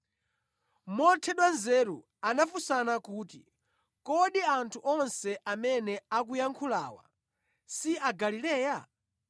Mothedwa nzeru anafunsana kuti, “Kodi anthu onse amene akuyankhulawa si Agalileya?